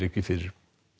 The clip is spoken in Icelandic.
fyrir